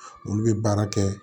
Olu bɛ baara kɛ